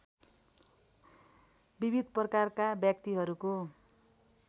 विविध प्रकारका व्यक्तिहरूको